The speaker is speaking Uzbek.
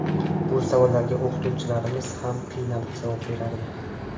Bu savollarga o‘qituvchilarimiz ham qiynalib javob berardi.